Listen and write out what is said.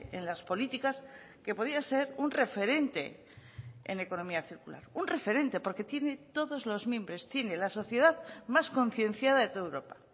en las políticas que podía ser un referente en economía circular un referente porque tiene todos los mimbres tiene la sociedad más concienciada de toda europa